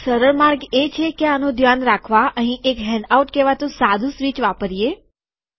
એક સરળ માર્ગ એ છે કે આનું ધ્યાન રાખવા અહીં એક હેન્ડઆઉટ કહેવાતું સાદું સ્વીચ વાપરીએ